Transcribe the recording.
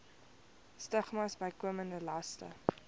stigmas bykomende laste